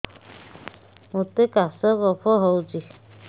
ମୋତେ କାଶ କଫ ହଉଚି